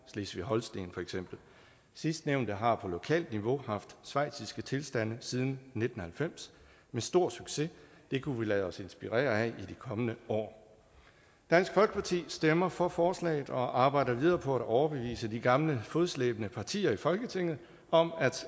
slesvig holsten sidstnævnte har på lokalt niveau haft schweiziske tilstande siden nitten halvfems med stor succes det kunne vi lade os inspirere af i de kommende år dansk folkeparti stemmer for forslaget og arbejder videre på at overbevise de gamle fodslæbende partier i folketinget om